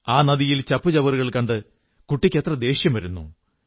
ആ നദിയിൽ ചപ്പുചവറുകൾ കണ്ട് കുട്ടിയ്ക്ക് എത്ര ദേഷ്യം വരുന്നു